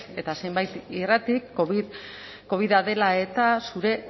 eta zenbait irratik covida dela eta zure